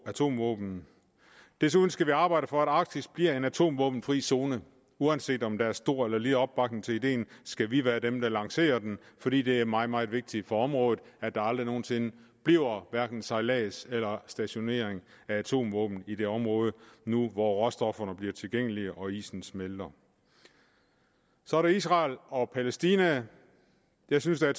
atomvåben desuden skal vi arbejde for at arktis bliver en atomvåbenfri zone uanset om der er stor eller lille opbakning til ideen skal vi være dem der lancerer den fordi det er meget meget vigtigt for området at der aldrig nogen sinde bliver hverken sejlads eller stationering af atomvåben i det område nu hvor råstofferne bliver tilgængelige og isen smelter så er der israel og palæstina jeg synes at